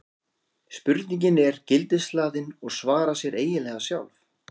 spurningin er gildishlaðin og svarar sér eiginlega sjálf